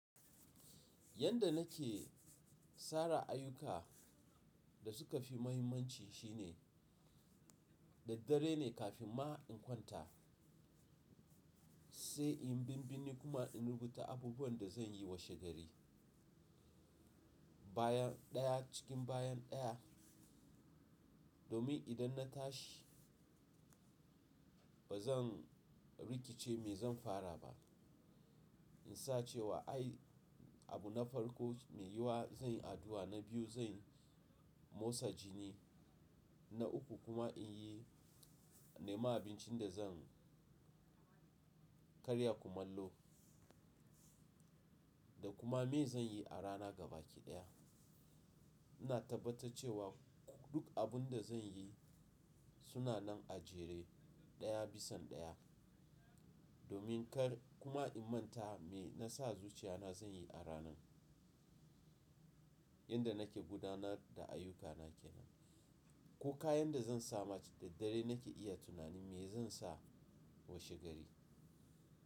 Yanda nake sara ayyuka da suka fi mahimmanci shine. Da dare ne kafin ma in kwanta, sai in binbini kuma in rubuta abubuwan da zan yi washe gari, bayan ɗaya cikin bayan ɗaya, domin idan na tashi. Ba zan rikice me zan fara ba. In sa cewa ai abu na farko me yiwuwa zan yi addu'a, na biyu zan motsa jini, na uku kuma in yi. Nema abincin da zan karya kumallo, da kuma me zan yi a rana ga baki daya. Ina tabbatar cewa duk abun da zan yi suna nan a jere ɗaya bisan ɗaya, domin kar kuma in manta me na sa zuciya na zan yi a ranan. Yanda nake gudanar da ayyukana kenan, ko kayan da zan sa ma da dare nake iya tunanin me zan sa washe gari.